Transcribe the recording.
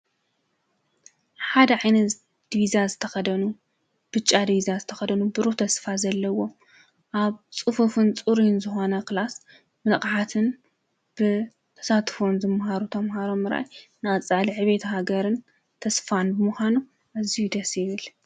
ሓደ ዒይነ ድብዛ ዝተኸደኑ ብጫ ድብዛ ዝተኸደኑ ብሩ ተስፋ ዘለዎ ኣብ ጽፉፍን ጽርን ዝሆነ ኽላስ ምነቕሓትን ብተሳትፎን ዘመሃሩ ተምሃሮ ምራይ ናፃል ኅቤት ሃገርን ተስፋን ብምዃኖ እዙይ ደሴብል